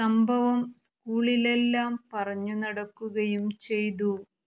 സംഭവം സ്കൂളിലെല്ലാം പറഞ്ഞുനടക്കുകയും ചെയ്തു